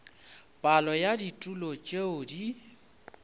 palo ya ditulo tšeo di